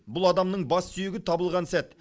бұл адамның бас сүйегі табылған сәт